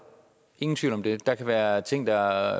ingen tvivl om det der kan være ting der